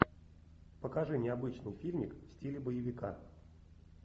покажи необычный фильмик в стиле боевика